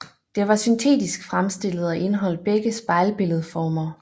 Det var syntetisk fremstillet og indeholdt begge spejlbilledformer